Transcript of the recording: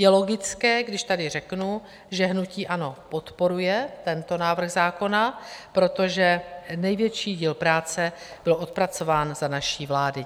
Je logické, když tady řeknu, že hnutí ANO podporuje tento návrh zákona, protože největší díl práce byl odpracován za naší vlády.